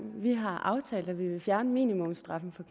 vi har aftalt at vi vil fjerne minimumsstraffen